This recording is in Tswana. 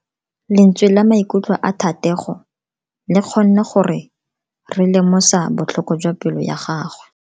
Lentswe la maikutlo a Thatego le kgonne gore re lemosa botlhoko jwa pelo ya gagwe.